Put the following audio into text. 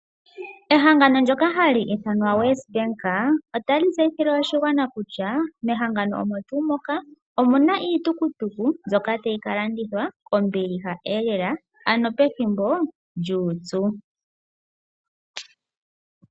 Ehangano lyoka hali ithanwa WesBank otali tseyithile oshigwana kutya. Mehangano omo tuu moka omuna iitukutuku lyoka tayi ka landithwa kombiliha lela pethimbo lyuupyu.